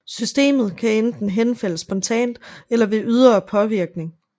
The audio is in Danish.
Systemet kan enten henfalde spontant eller ved ydre påvirkning